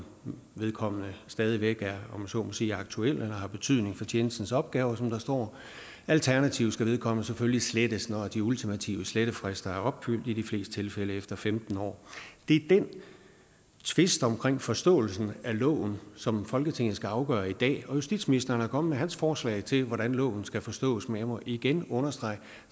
vedkommende stadig væk er om jeg så må sige aktuel eller har betydning for tjenestens opgaver som der står alternativt skal vedkommende selvfølgelig slettes når de ultimative slettefrister er opfyldt i de fleste tilfælde efter femten år det er den tvist om forståelsen af loven som folketinget skal afgøre i dag justitsministeren er kommet forslag til hvordan loven skal forstås men jeg må igen understrege